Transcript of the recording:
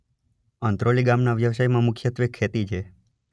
અંત્રોલી ગામના વ્યવસાયમાં મુખ્યત્વે ખેતી છે.